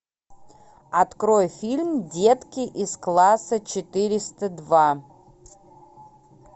открой фильм детки из класса четыреста два